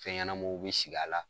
Fɛn ɲɛnamaw bi sigi a la